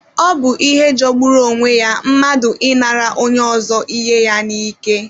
Ọ bụ ihe jogburu onwe ya mmadụ inara onye ọzọ ihe ya n'ike